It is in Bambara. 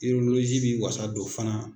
bɛ wasa don fana